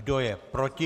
Kdo je proti?